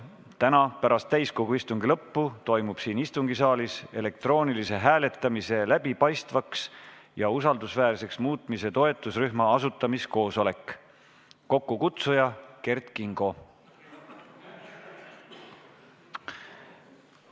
Täna pärast täiskogu istungi lõppu toimub siin istungisaalis elektroonilise hääletamise läbipaistvaks ja usaldusväärseks muutmise toetusrühma asutamiskoosolek, kokkukutsuja on Kert Kingo.